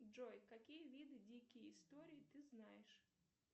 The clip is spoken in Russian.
джой какие виды дикие истории ты знаешь